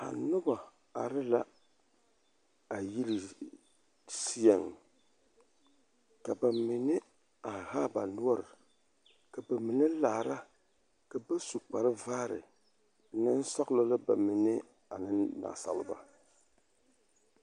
A noba are la a yiri seɛŋ ka ba mine are haa ba noɔr ka ba mine meŋ laara ka ba mine su kparvaare nensɔɡelɔ la ba mine ane naasaleba.